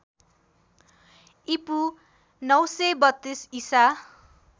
ईपू ९३२ ईसा